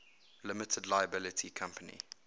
limited liability company